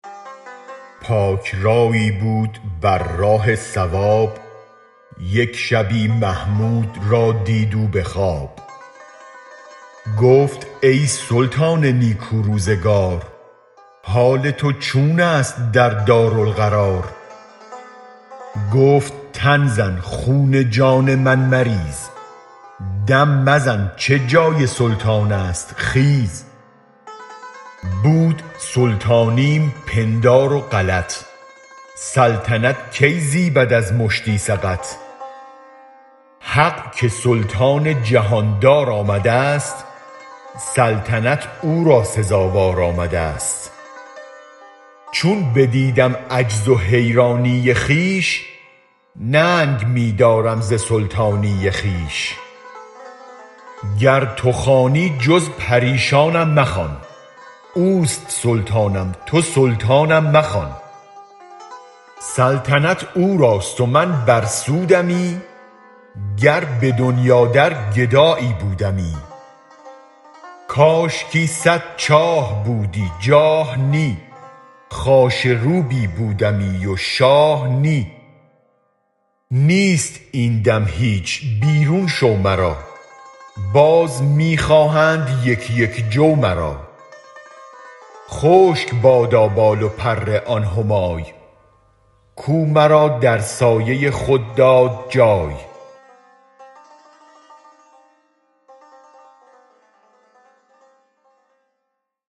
پاک رأیی بود بر راه صواب یک شبی محمود را دید او به خواب گفت ای سلطان نیکو روزگار حال تو چون است در دارالقرار گفت تن زن خون جان من مریز دم مزن چه جای سلطان است خیز بود سلطانیم پندار و غلط سلطنت کی زیبد از مشتی سقط حق که سلطان جهان دار آمدست سلطنت او را سزاوار آمدست چون بدیدم عجز و حیرانی خویش ننگ می دارم ز سلطانی خویش گر تو خوانی جز پریشانم مخوان اوست سلطانم تو سلطانم مخوان سلطنت او راست و من بر سودمی گر به دنیا در گدایی بودمی کاشکی صد چاه بودی جاه نی خاشه روبی بودمی و شاه نی نیست این دم هیچ بیرون شو مرا باز می خواهند یک یک جو مرا خشک بادا بال و پر آن همای کو مرا در سایه خود داد جای